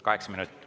Kaheksa minutit.